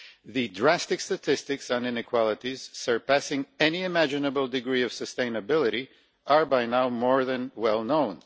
The drastic statistics on inequalities, surpassing any imaginable degree of sustainability, are by now more than well known.